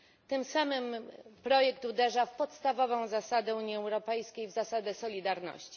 Tym samym projekt uderza w podstawową zasadę Unii Europejskiej w zasadę solidarności.